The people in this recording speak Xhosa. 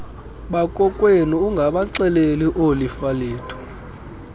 bakokwenu ungabaxeleli oolifalethu